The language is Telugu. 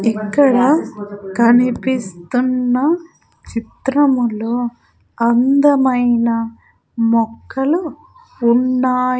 ఇక్కడ కనిపిస్తున్న చిత్రములో అందమైన మొక్కలు ఉన్నాయి.